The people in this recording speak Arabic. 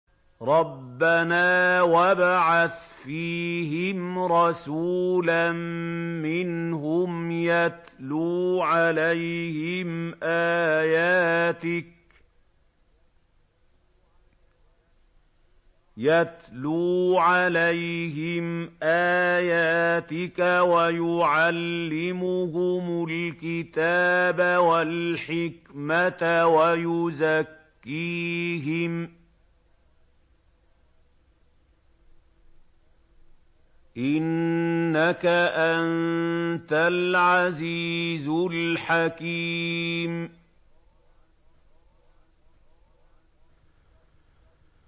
رَبَّنَا وَابْعَثْ فِيهِمْ رَسُولًا مِّنْهُمْ يَتْلُو عَلَيْهِمْ آيَاتِكَ وَيُعَلِّمُهُمُ الْكِتَابَ وَالْحِكْمَةَ وَيُزَكِّيهِمْ ۚ إِنَّكَ أَنتَ الْعَزِيزُ الْحَكِيمُ